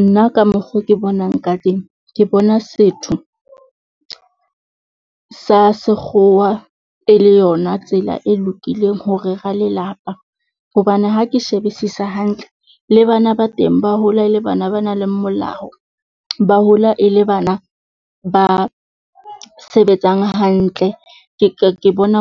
Nna ka mokgo ke bonang ka teng ke bona setho, sa sekgowa e le yona tsela e lokileng ho rera lelapa. Hobane ha ke shebisisa hantle le bana ba teng, ba hola e le bana ba nang le molao, ba hola e le bana ba sebetsang hantle. Ke bona